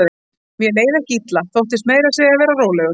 Mér leið ekki illa, þóttist meira að segja vera rólegur.